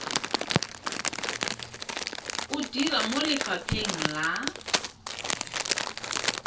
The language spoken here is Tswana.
o dira mo lefapheng la